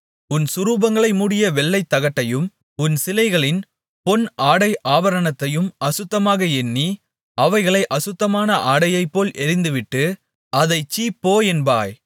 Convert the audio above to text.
உன் சுரூபங்களை மூடிய வெள்ளித்தகட்டையும் உன் சிலைகளின் பொன் ஆடை ஆபரணத்தையும் அசுத்தமாக எண்ணி அவைகளை அசுத்தமான ஆடையைப்போல எறிந்துவிட்டு அதைச் சீ போ என்பாய்